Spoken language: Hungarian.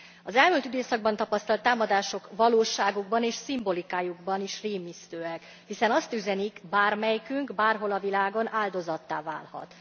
Az elmúlt időszakban tapasztalt támadások valóságukban és szimbolikájukban is rémisztőek, hiszen azt üzenik bármelyikünk, bárhol a világon áldozattá válhat.